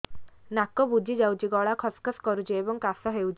ନାକ ବୁଜି ଯାଉଛି ଗଳା ଖସ ଖସ କରୁଛି ଏବଂ କାଶ ହେଉଛି